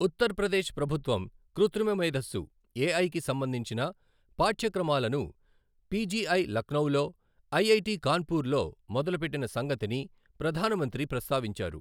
ఉత్తర్ ప్రదేశ్ ప్రభుత్వం కృత్రిమ మేధస్సు ఎఐ కి సంబంధించిన పాఠ్యక్రమాలను పిజిఐ లక్నోలో, ఐఐటి కాన్పుర్ లో మొదలుపెట్టిన సంగతిని ప్రధాన మంత్రి ప్రస్తావించారు.